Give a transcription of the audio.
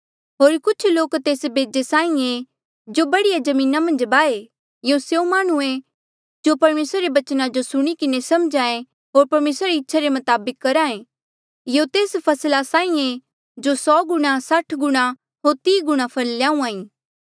होर कुछ लोक तेस बेजे साहीं ऐें जो बढ़िया जमीना मन्झ बाहे यूं स्यों माह्णुं ऐें जो परमेसरा रे बचना जो सुणी किन्हें समझ्हे होर परमेसरा री इच्छा रे मताबक करहा ऐें यूं तेस फसला साहीं ऐें जो सौ गुणा साठ गुणा होर तीह गुणा फल ल्याहूहाँ ऐें